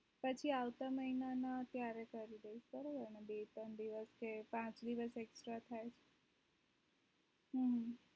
પછી આવતા માહીનામાં ત્યારે કરી દઈશ એટલે પાચ દિવસ extra થાય તો